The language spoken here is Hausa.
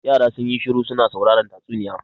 Yara sun yi shiru su na sauraren tatsuniya.